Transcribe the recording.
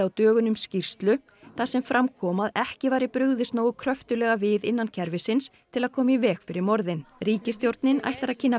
dögunum skýrslu þar sem fram kom að ekki væri brugðist nógu kröftuglega við innan kerfisins til að koma í veg fyrir morðin ríkisstjórnin ætlar að kynna